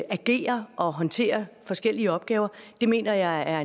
agerer og håndterer forskellige opgaver mener jeg at